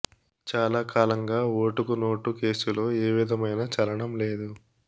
చాలా కాలంగా ఓటుకు నోటు కేసులో ఏ విధమైన చలనం లేదు